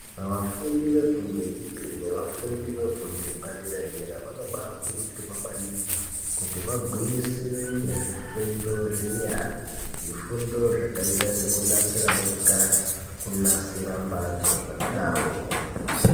Vafundi vefundo yechipiri nevefundo yepadera-dera vanobaakurudzirwa maningi kuti vagwinyisire ngezvifundo zvenyara. Zvifundo zvakaita sekunasira motikari, kunasira mbatso zvakadaroko.